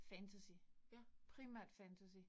Fantasy. Primært fantasy